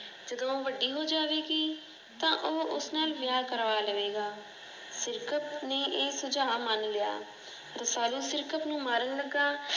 ਜਦੋਂ ਉਹ ਵੱਡੀ ਹੋ ਜਾਵੇਗੀ ਤਾਂ ਉਹ ਉਸ ਨਾਲ ਵਿਆਹ ਕਰਵਾ ਲਵੇਗਾ। ਸਿਰਕਤ ਨੇ ਇਹ ਸੁਝਾਅ ਮਨ ਲਿਆ। ਰਸਾਲੂ ਸਿਰਕਤ ਨੂੰ ਮਾਰਨ ਲੱਗਾ।